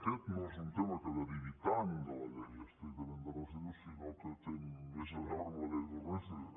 aquest no és un tema que derivi tant de la llei estric·tament dels residus sinó que té més a veure amb la llei urbanística